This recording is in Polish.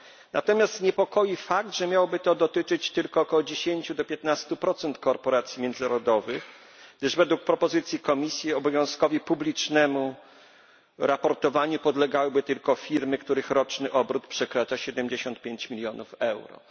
Natomiast niepokoi fakt, że miałoby to dotyczyć tylko około 10 do 15 procent korporacji międzynarodowych, gdyż według propozycji Komisji obowiązkowi publicznego raportowania podlegałyby tylko firmy, których roczny obrót przekracza 75 milionów euro.